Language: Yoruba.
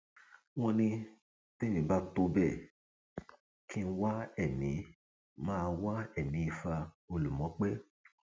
wọn ní tẹmí bá tó bẹẹ kí n wá ẹmí máa wá ẹmí ifá olùmọpẹ